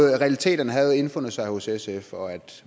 realiteterne havde indfundet sig hos sf og at